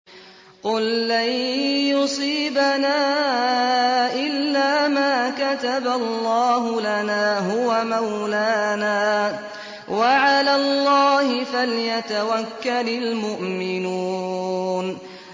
قُل لَّن يُصِيبَنَا إِلَّا مَا كَتَبَ اللَّهُ لَنَا هُوَ مَوْلَانَا ۚ وَعَلَى اللَّهِ فَلْيَتَوَكَّلِ الْمُؤْمِنُونَ